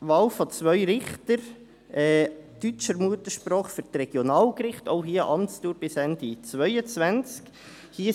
Wahl von zwei Richtern deutscher Muttersprache für die Regionalgerichte, auch hier mit einer Amtsdauer bis Ende 2022.